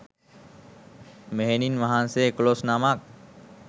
මෙහෙණින් වහන්සේ එකොළොස් නමක්